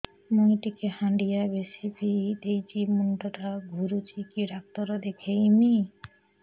ମୁଇ ଟିକେ ହାଣ୍ଡିଆ ବେଶି ପିଇ ଦେଇଛି ମୁଣ୍ଡ ଟା ଘୁରୁଚି କି ଡାକ୍ତର ଦେଖେଇମି